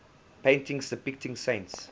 paintings depicting saints